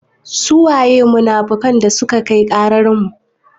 Su waye munafukan dasuka kai ƙarar mu?